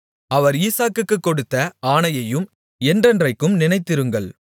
அவர் ஈசாக்குக்குக் கொடுத்த ஆணையையும் என்றென்றைக்கும் நினைத்திருங்கள்